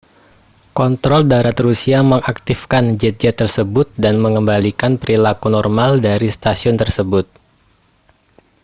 kontrol darat rusia mengaktifkan jet-jet tersebut dan mengembalikan perilaku normal dari stasiun tersebut